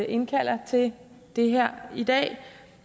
indkalder til det her i dag